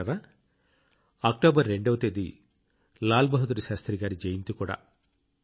మిత్రులారా అక్టోబర్ 2 వ తేదీ లాల్ బహదూర్ శాస్త్రి జయంతి కూడా